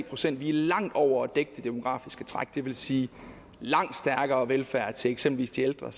procent vi er langt over at dække det demografiske træk det vil sige langt stærkere velfærd til eksempelvis de ældre